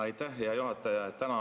Aitäh, hea juhataja!